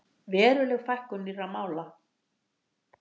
Veruleg fækkun nýrra mála